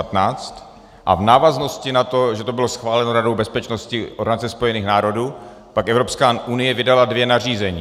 A v návaznosti na to, že to bylo schváleno Radou bezpečnosti Organizace spojených národů, pak Evropská unie vydala dvě nařízení.